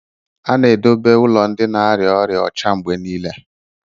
A na-edobe ụlọ ndị na-arịa ọrịa ọcha mgbe niile